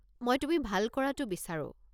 মই তুমি ভাল কৰাটো বিচাৰো।